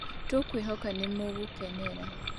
Tũkwĩhoka nĩ mũgũkenera